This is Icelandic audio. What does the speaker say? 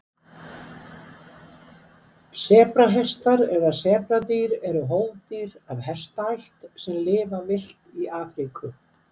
sebrahestar eða sebradýr eru hófdýr af hestaætt sem lifa villt í afríku